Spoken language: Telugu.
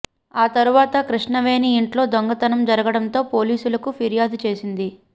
ఆ తర్వాత కృష్ణవేణి ఇంట్లో దొంగతనం జరగడంతో పోలీసులకు ఫిర్యాదు చేసింది